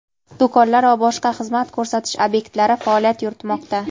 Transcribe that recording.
do‘konlar va boshqa xizmat ko‘rsatish obyektlari faoliyat yuritmoqda.